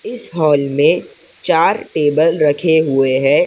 इस हॉल में चार टेबल रखे हुए हैं।